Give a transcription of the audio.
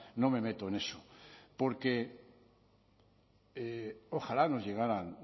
no me meto en eso porque ojalá nos llegaran